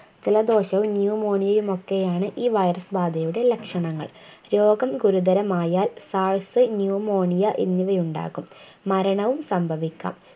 ജലദോഷവും Pneumonia യുമൊക്കെയാണ് ഈ virus ബാധയുടെ ലക്ഷണങ്ങൾ രോഗം ഗുരുതരമായാൽ SARSPneumonia എന്നിവയുണ്ടാകും മരണവും സംഭവിക്കാം